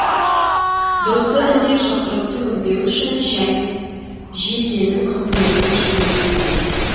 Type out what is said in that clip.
дұрысы індет жұқтырып түңілмеу үшін жекенің қызметіне жүгінбеу керек